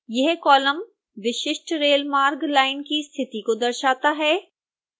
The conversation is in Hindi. यह कॉलम विशिष्ट रेलमार्ग लाइन की स्थिति को दर्शाता है